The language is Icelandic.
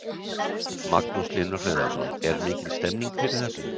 Magnús Hlynur Hreiðarsson: Er mikil stemning fyrir þessu?